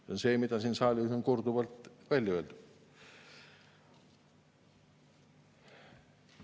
See on see, mida siin saalis on korduvalt välja öeldud.